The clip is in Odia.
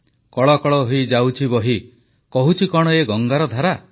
କଳ କଳ ହୋଇ ଯାଉଛି ବହି କହୁଛି କଣ ଏ ଗଙ୍ଗାର ଧାରା